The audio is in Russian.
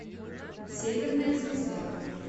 северная звезда